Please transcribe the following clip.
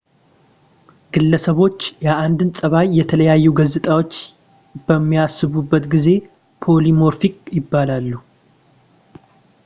ግለሰቦች የአንድን ፀባይ የተለያዩ ገፅታዎች በሚያሳዩበት ጊዜ polymorphic ይባላሉ